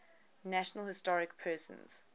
national historic persons